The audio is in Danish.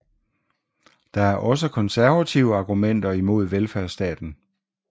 Der er også konservative argumenter imod velfærdsstaten